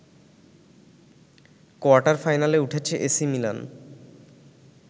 কোয়ার্টার-ফাইনালে উঠেছে AC Milan